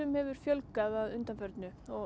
hefur fjölgað að undanförnu og